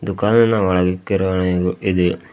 ದುಖಾನಿನಾ ಒಳಗೆ ಕಿರಾಣಿ ಗ ಇದೆ.